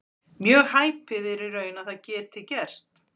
Mjög hæpið er í raun að það geti gerst.